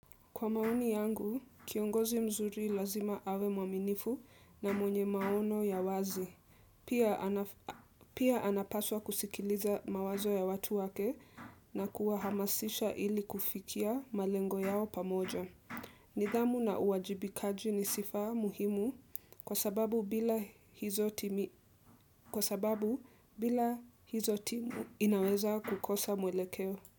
Kwa maoni yangu, kiongozi mzuri lazima awe mwaminifu na mwenye maono ya wazi. Pia anapaswa kusikiliza mawazo ya watu wake na kuwahamasisha ili kufikia malengo yao pamoja. Nidhamu na uwajibikaji ni sifa muhimu kwa sababu bila hizo timu inaweza kukosa mwelekeo.